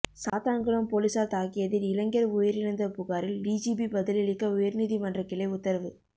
சாத்தான்குளம் போலீசார் தாக்கியதில் இளைஞர் உயிரிழந்த புகாரில் டிஜிபி பதிலளிக்க உயர்நீதிமன்றக் கிளை உத்தரவு